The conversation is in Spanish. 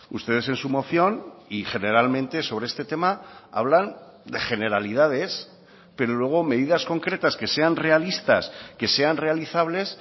ustedes en su moción y generalmente sobre este tema hablan de generalidades pero luego medidas concretas que sean realistas que sean realizables